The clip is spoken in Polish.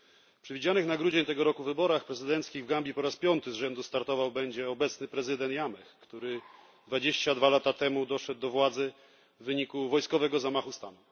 W przewidzianych na grudzień tego roku wyborach prezydenckich w Gambii po raz piąty z rzędu startować będzie obecny prezydent Jammeh, który 22 lata temu doszedł do władzy w wyniku wojskowego zamachu stanu.